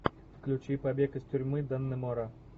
включи побег из тюрьмы даннемора